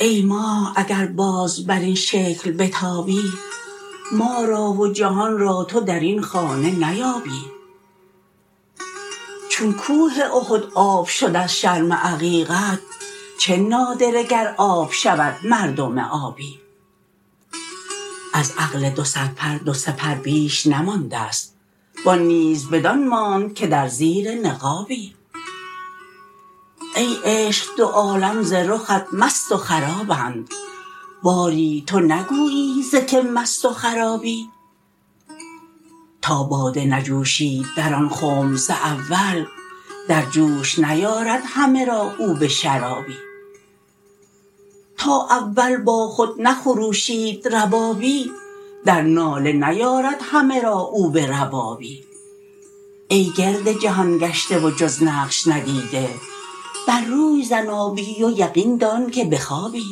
ای ماه اگر باز بر این شکل بتابی ما را و جهان را تو در این خانه نیابی چون کوه احد آب شد از شرم عقیقت چه نادره گر آب شود مردم آبی از عقل دو صدپر دو سه پر بیش نمانده ست و آن نیز بدان ماند که در زیر نقابی ای عشق دو عالم ز رخت مست و خرابند باری تو نگویی ز کی مست و خرابی تا باده نجوشید در آن خنب ز اول در جوش نیارد همه را او به شرابی تا اول با خود نخروشید ربابی در ناله نیارد همه را او به ربابی ای گرد جهان گشته و جز نقش ندیده بر روی زن آبی و یقین دان که بخوابی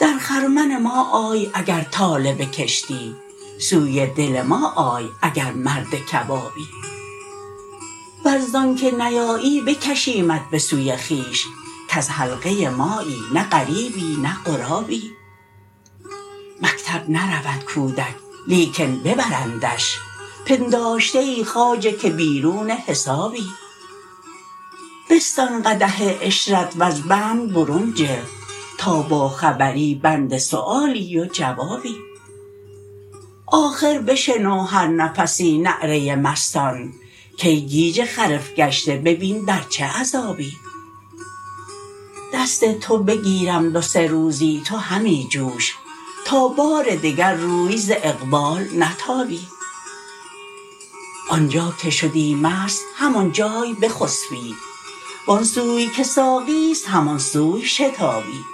در خرمن ما آی اگر طالب کشتی سوی دل ما آی اگر مرد کبابی ور ز آنک نیایی بکشیمت به سوی خویش کز حلقه مایی نه غریبی نه غرابی مکتب نرود کودک لیکن ببرندش پنداشته ای خواجه که بیرون حسابی بستان قدح عشرت وز بند برون جه تا باخبری بند سؤالی و جوابی آخر بشنو هر نفسی نعره مستان کای گیج خرف گشته ببین در چه عذابی دست تو بگیرم دو سه روزی تو همی جوش تا بار دگر روی ز اقبال نتابی آن جا که شدی مست همان جای بخسبی و آن سوی که ساقی است همان سوی شتابی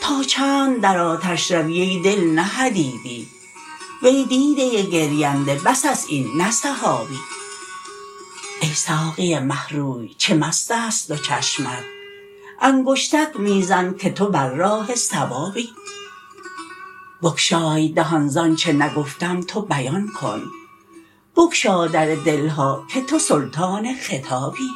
تا چند در آتش روی ای دل نه حدیدی وی دیده گرینده بس است این نه سحابی ای ساقی مه روی چه مست است دو چشمت انگشتک می زن که تو بر راه صوابی بگشای دهان ز آنچ نگفتم تو بیان کن بگشا در دل ها که تو سلطان خطابی